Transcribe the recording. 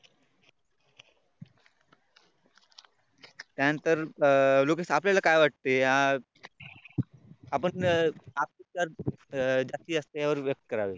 त्यानंतर अह लोकेश आपल्याला काय वाटते अह आपल्याला झाशी व्यक्त करावे